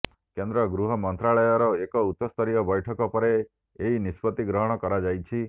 କେନ୍ଦ୍ର ଗୃହ ମନ୍ତ୍ରାଳୟର ଏକ ଉଚ୍ଚସ୍ତରୀୟ ବୈଠକ ପରେ ଏହି ନିଷ୍ପତ୍ତି ଗ୍ରହଣ କରାଯାଇଛି